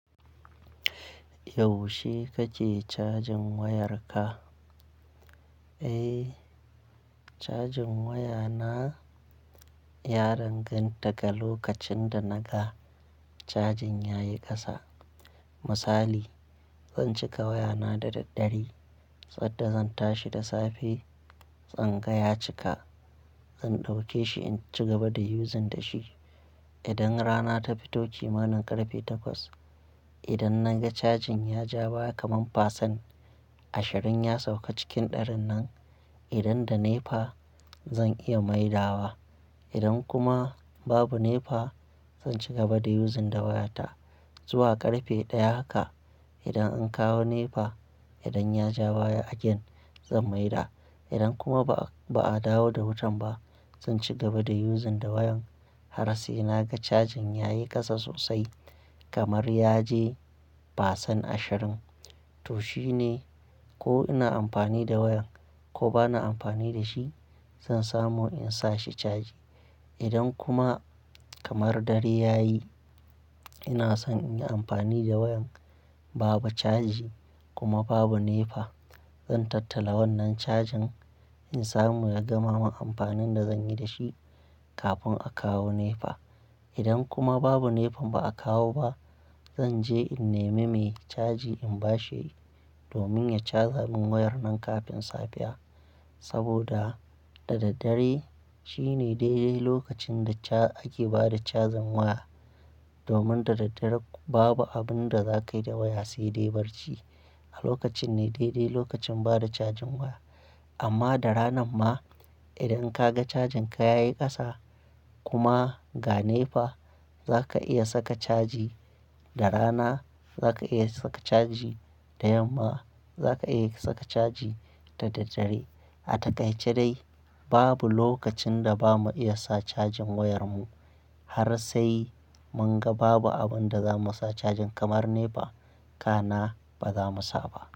Yaushe kake cajin wayarka? Eh, cajin wayana ya danganta ga lokacin da naga cajin yayi kasa. Misali, zan cika wayana da daddare sanda zan tashi da safe zanga ya cika. Zan dauke shi in ci gaba da using da shi. Idan rana ta fito kimanin karfe takwas, idan naga cajin ya ja baya kaman fasan ashirin ya sauka cikin ɗarin nan, idan da nefa zan iya maida wa. Idan kuma babu nefa, zan ci gaba da yuzin da wayata zuwa karfe ɗaya haka. Idan an kawo nefa, idan ya ja baya again zan maida. Idan kuma ba a dawo da wutan ba, zan ci gaba da using da wayan har sai naga cajin yayi kasa sosai kamar yaje fasan ashirin. To shine ko ina amfani da wayan ko bana amfani da shi, zan samu in sa shi caji. Idan kuma kamar dare yayi ina son in yi amfani da wayan, babu caji kuma babu nepa, zan tattara wannan cajin in samu ya gama mun amfanin da zan yi da shi kafin a kawo nepa. Idan kuma babu nefan ba a kawo ba, zan je in nemi mai caji in bashi domin ya caja mun wayar nan kafin safiya. Saboda da daddare shine dai dai lokacin da ake bada cajin waya. Domin da daddare babu abin da zakayi da waya sai dai barci. A lokacin ne dai dai lokacin bada cajin waya. Amma da ranan ma idan kaga cajin ka yayi kasa kuma ga nepa, zaka iya saka caji. Da rana zaka iya saka caji, da yamma zaka iya saka caji, da daddare. A takaice dai babu lokacin da ba mu iya sa cajin wayar mu har sai mun ga babu abin da zamu sa cajin kamar nepa, ka na ba zamu sa ba.